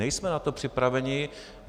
Nejsme na to připraveni.